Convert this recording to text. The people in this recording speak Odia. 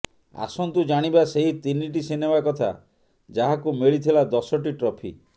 ଆସନ୍ତୁ ଜାଣିବା ସେହି ତିନିଟି ସିନେମା କଥା ଯାହାକୁ ମିଳିଥିଲା ଦଶଟି ଟ୍ରଫି